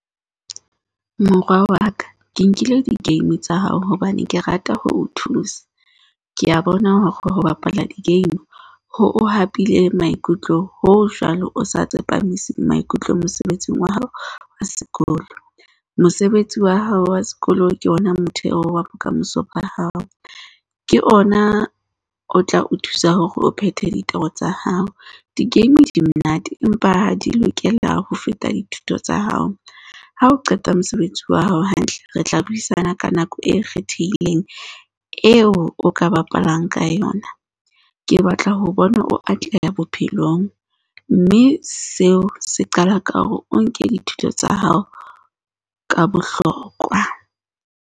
Mora wa ka, ke nkile di-game tsa hao, hobane ke rata ho o thusa. Ke a bona hore ho bapala di-game ho o hapile maikutlo, hoo jwale o sa tsepamiseng maikutlo mosebetsing wa hao wa sekolo. Mosebetsi wa hao wa sekolo ke ona motheo wa bokamoso ba hao. Ke ona o tla o thusa hore o phethe ditoro tsa hao. Di-game di monate empa ha di lokela ho feta dithuto tsa hao. Ha o qeta mosebetsi wa hao hantle, re tla buisana ka nako e kgethehileng eo o ka bapalang ka yona. Ke batla ho o bona o atleha bophelong. Mme seo se qala ka hore o nke dithuto tsa hao ka bohlokwa.